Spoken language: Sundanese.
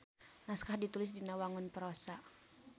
Naskah ditulis dina wangun prosa.